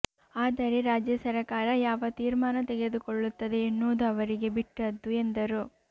ಆದರೆ ರಾಜ್ಯ ಸರಕಾರ ಯಾವ ತೀರ್ಮಾನ ತೆಗೆದುಕೊಳ್ಳುತ್ತದೆ ಎನ್ನುವುದು ಅವರಿಗೆ ಬಿಟ್ಟದ್ದು ಎಂದರು